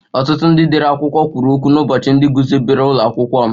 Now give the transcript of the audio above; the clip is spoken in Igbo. Ọtụtụ ndị dere akwụkwọ kwuru okwu n'ụbọchị ndị guzobere ụlọ akwụkwọ m